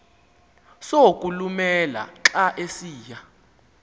sokulumela xa esiya